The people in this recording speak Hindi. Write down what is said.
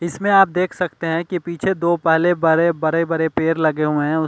इसमें आप देख सकते हैं कि पीछे दो पहले बरे बरे बरे पेड़ लगे हुए हैं।